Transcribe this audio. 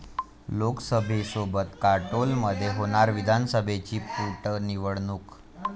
लोकसभेसोबत काटोलमध्ये होणार विधानसभेची पोटनिवडणूक